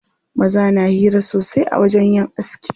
Maza na hira sosai a wajen yin aski.